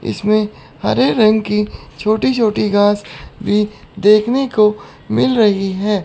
इसमें हरे रंग की छोटी छोटी घास भी देखने को मिल रही है।